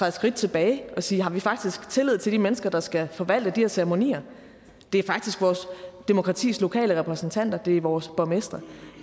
et skridt tilbage og sige har vi faktisk tillid til de mennesker der skal forvalte de her ceremonier det er faktisk vores demokratis lokale repræsentanter det er vores borgmestre og